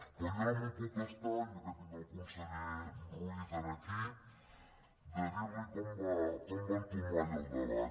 però jo no me’n puc estar ja que tinc el conseller ruiz aquí de dir·li com va entomar ell el debat